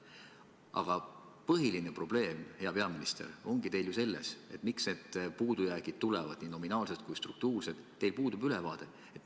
" Aga põhiline probleem, hea peaminister, miks need puudujäägid tulevad nii nominaalsed kui ka struktuursed, ongi selles, et teil puudub ülevaade.